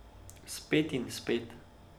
Spet in spet.